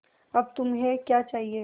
अब तुम्हें क्या चाहिए